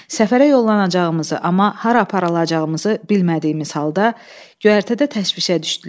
Səfərə yollanacağımızı, amma hara aparılacağımızı bilmədiyimiz halda göyərtədə təşvişə düşdülər.